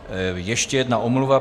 Ještě jedna omluva.